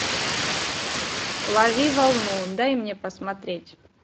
лови волну дай мне посмотреть